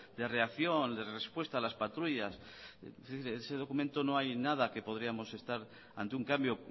de reacción de respuesta a las patrullas es decir ese documento no hay nada que podríamos estar ante un cambio